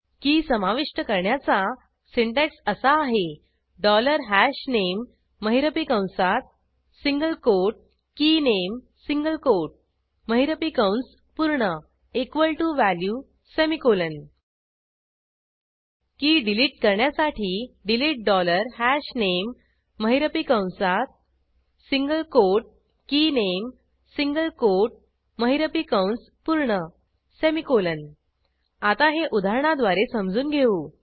की समाविष्ट करण्याचा सिंटॅक्स असा आहे डॉलर हशनामे महिरपी कंसात single quote keyname single quote महिरपी कंस पूर्ण equal to value semicolon key delete करण्यासाठी डिलीट डॉलर हशनामे महिरपी कंसात single quote keyname single quote महिरपी कंस पूर्ण सेमिकोलॉन आता हे उदाहरणाद्वारे समजून घेऊ